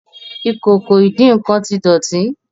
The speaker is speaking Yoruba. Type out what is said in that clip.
Ìkòkò ìdín-nǹkan tí dótì.